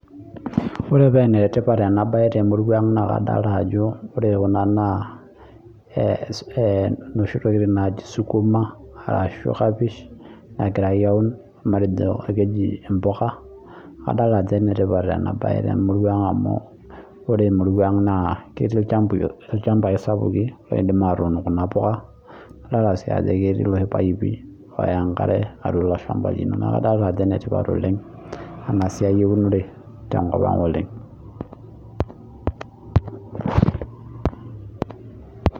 Ore enetipat ena baye temurua ang naa kadalta ajo ore kuna naa eh inoshi tokiting naaji sukuma arashu kapish nagirae aun matejo akeji impuka adal ajo enetipat ena baye temurua ang amu ore emurua ang naa ketii ilchamb ilchambai sapuki loidim atuun kuna puka adalta sii ajo ketii iloshi paipi oya enkare atua ilo shamba lino neku kadalta ajo enetipat oleng ena siai eunore tenkop ang oleng.